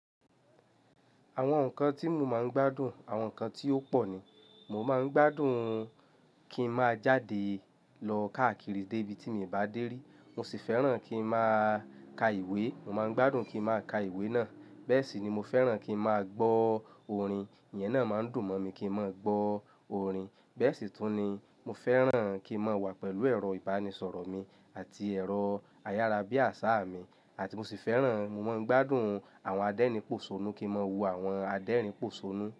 Àwọn nǹkan tí mo máa ń gbádùn, àwọn nǹkan tí ó pọ̀ ni. Mo máa ń gbádùn kí ń máa jáde lọ káàkiri dé ibi tí mo bá dé rí. Mo sì fẹ́ràn kí ń máa ka ìwé, mo máa ń gbádùn kí ń máa ka ìwé náà. Bẹ́ẹ̀ sì ni mo fẹ́ràn kí ń máa gbọ́ orin, iyẹn náà máa ń dùn mọ́ mi kí ń máa gbọ́ orin. Bẹ́ẹ̀ sì tún ni mo fẹ́ràn kí ń máa wà pẹ̀lú ẹ̀rọ ìbánisọ̀rọ̀ mi àti ẹ̀rọ ayárabíàṣá mi àti mo sì fẹ́ràn, mo máa ń gbádùn àwọn adérìn pòṣónú kí ń máa wo àwọn adérìn pòṣónú.